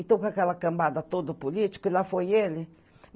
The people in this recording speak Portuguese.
Então, com aquela cambada toda político, e lá foi ele.